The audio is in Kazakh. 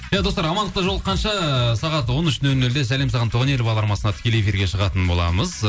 иә достар амандықта жолыққанша сағат он үш нөл нөлде сәлем саған туған ел бағдарламасында тікелей эфирге шығатын боламыз